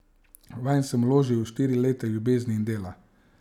Vanje sem vložil štiri leta ljubezni in dela.